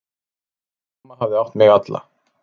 Mamma hafði átt mig alla.